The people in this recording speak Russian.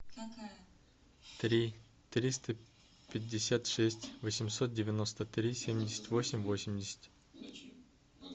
три триста пятьдесят шесть восемьсот девяносто три семьдесят восемь восемьдесят